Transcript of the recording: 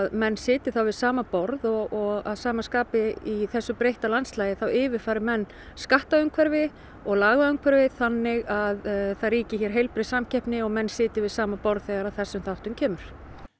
menn sitji þá við sama borð og af sama skapi í þessu breytta landslagi þá yfirfæri menn skattaumhverfi og lagaumhverfi þannig að það ríki hér heilbrigði samkeppni og menn sitji við sama borð þegar að þessum þáttum kemur